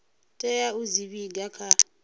tea u dzi vhiga kha